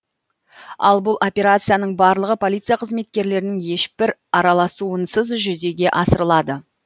ал бұл операцияның барлығы полиция қызметкерлерінің ешбір араласуынсыз жүзеге асырылады